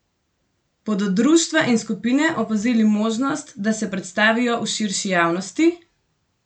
Bodo društva in skupine opazili možnost, da se predstavijo širši javnosti?